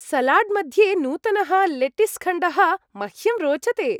सलाड्मध्ये नूतनः लेटीस्खण्डः मह्यं रोचते।